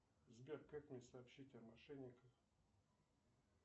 сбер как мне сообщить о мошенниках